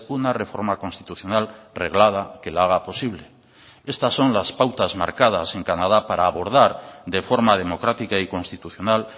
una reforma constitucional reglada que la haga posible estas son las pautas marcadas en canadá para abordar de forma democrática y constitucional